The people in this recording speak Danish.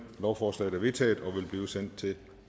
lovforslaget er vedtaget og vil blive sendt til